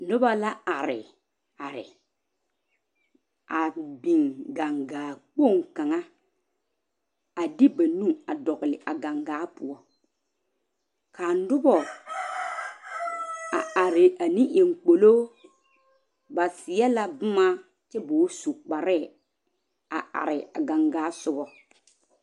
Noba la are are a big gaŋgaŋkpoŋ kaŋa a de ba nu a dol a gaŋgaŋ poɔ ka noba are ne eŋ kpolo ba seɛ la boma kpaare a gaŋgaŋ sogo.